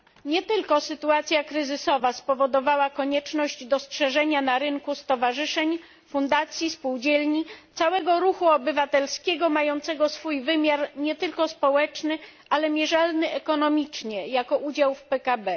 Nie tylko sytuacja kryzysowa spowodowała konieczność dostrzeżenia na rynku stowarzyszeń, fundacji, spółdzielni, całego ruchu obywatelskiego mającego swój wymiar nie tylko społeczny, ale mierzalny ekonomicznie, jako udział w PKB.